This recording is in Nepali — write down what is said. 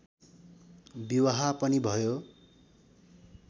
विवाह पनि भयो